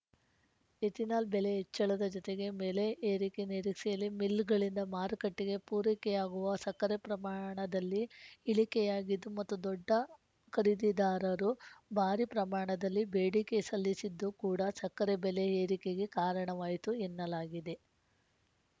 ethanol ಬೆಲೆ ಹೆಚ್ಚಳದ ಜೊತೆಗೆ ಬೆಲೆ ಏರಿಕೆ ನಿರೀಕ್ಷೆಯಲ್ಲಿ ಮಿಲ್‌ಗಳಿಂದ ಮಾರುಕಟ್ಟೆಗೆ ಪೂರೈಕೆಯಾಗುವ ಸಕ್ಕರೆ ಪ್ರಮಾಣದಲ್ಲಿ ಇಳಿಕೆಯಾಗಿದ್ದು ಮತ್ತು ದೊಡ್ಡ ಖರೀದಿದಾರರು ಭಾರೀ ಪ್ರಮಾಣದಲ್ಲಿ ಬೇಡಿಕೆ ಸಲ್ಲಿಸಿದ್ದು ಕೂಡಾ ಸಕ್ಕರೆ ಬೆಲೆ ಏರಿಕೆಗೆ ಕಾರಣವಾಯ್ತು ಎನ್ನಲಾಗಿದೆ